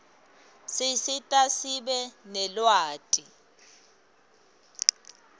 sisita sibe nelwati